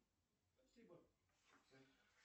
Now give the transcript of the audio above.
попытка намбер ван